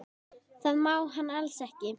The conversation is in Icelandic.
Það má hann alls ekki.